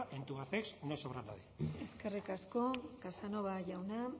en tubacex no sobra nadie eskerrik asko casanova jauna